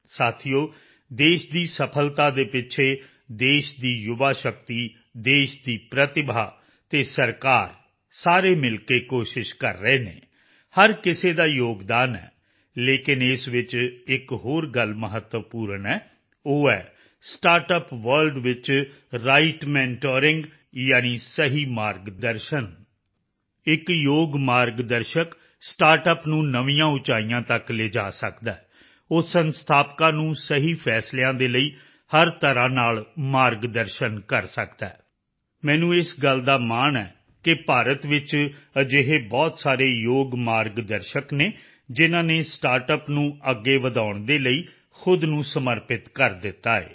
ਸਾਥੀਓ ਦੇਸ਼ ਦੀ ਸਫ਼ਲਤਾ ਦੇ ਪਿੱਛੇ ਦੇਸ਼ ਦੀ ਯੁਵਾ ਸ਼ਕਤੀ ਦੇਸ਼ ਦੀ ਪ੍ਰਤਿਭਾ ਅਤੇ ਸਰਕਾਰ ਸਾਰੇ ਮਿਲ ਕੇ ਕੋਸ਼ਿਸ਼ ਕਰ ਰਹੇ ਹਨ ਹਰ ਕਿਸੇ ਦਾ ਯੋਗਦਾਨ ਹੈ ਲੇਕਿਨ ਇਸ ਵਿੱਚ ਇੱਕ ਹੋਰ ਗੱਲ ਮਹੱਤਵਪੂਰਨ ਹੈ ਉਹ ਹੈ ਸਟਾਰਟਅੱਪ ਵਰਲਡ ਵਿੱਚ ਰਾਈਟ ਮੌਨੀਟਰਿੰਗ ਯਾਨੀ ਸਹੀ ਮਾਰਗ ਦਰਸ਼ਨ ਇੱਕ ਯੋਗ ਮਾਰਗ ਦਰਸ਼ਕ ਸਟਾਰਟਅੱਪ ਨੂੰ ਨਵੀਆਂ ਉਚਾਈਆਂ ਤੱਕ ਲਿਜਾ ਸਕਦਾ ਹੈ ਉਹ ਸੰਸਥਾਪਕਾਂ ਨੂੰ ਸਹੀ ਫ਼ੈਸਲਿਆਂ ਦੇ ਲਈ ਹਰ ਤਰ੍ਹਾਂ ਨਾਲ ਮਾਰਗ ਦਰਸ਼ਨ ਕਰ ਸਕਦਾ ਹੈ ਮੈਨੂੰ ਇਸ ਗੱਲ ਦਾ ਮਾਣ ਹੈ ਕਿ ਭਾਰਤ ਵਿੱਚ ਅਜਿਹੇ ਬਹੁਤ ਸਾਰੇ ਯੋਗ ਮਾਰਗ ਦਰਸ਼ਕ ਹਨ ਜਿਨ੍ਹਾਂ ਨੇ ਸਟਾਰਟਅੱਪ ਨੂੰ ਅੱਗੇ ਵਧਾਉਣ ਦੇ ਲਈ ਖੁਦ ਨੂੰ ਸਮਰਪਿਤ ਕਰ ਦਿੱਤਾ ਹੈ